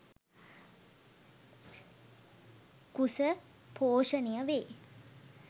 කුස පෝෂණය වේ.